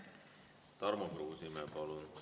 Tarmo Kruusimäe, palun!